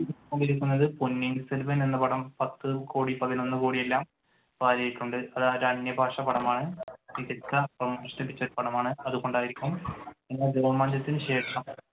പൊന്നിയിൻ സെൽവം എന്ന പടം പത്തു കോടി പതിനൊന്നു കോടി എല്ലാം വാരിയിട്ടുണ്ട്. അതൊരു അന്യഭാഷാ പടമാണ് രോമാഞ്ചത്തിന്‌ ശേഷം